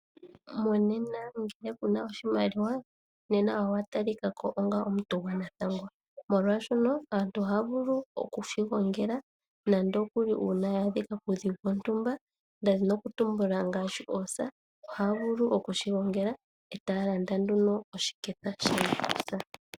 Monena ngele kuna oshimaliwa nena owa talika ko onga omuntu gwanathangwa, molwashoka aantu ohaya vulu okushi gongela nando okuli uuna yaadhika kuudhigu wontumba, nda dhini oku tumbula ngaashi oosa ohaya vulu okushi gongela etaya landa nduno oshiketha sha nakusa.